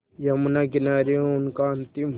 यमुना किनारे उनका अंतिम